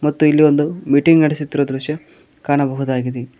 ಮತ್ತು ಇಲ್ಲಿ ಒಂದು ಮೀಟಿಂಗ್ ನಡೆಸುತ್ತಿರುವ ದೃಶ್ಯ ಕಾಣಬಹುದಾಗಿದೆ.